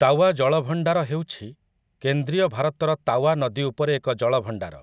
ତାୱା ଜଳଭଣ୍ଡାର ହେଉଛି କେନ୍ଦ୍ରୀୟ ଭାରତର ତାୱା ନଦୀଉପରେ ଏକ ଜଳଭଣ୍ଡାର ।